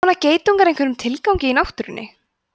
þjóna geitungar einhverjum tilgangi í náttúrunni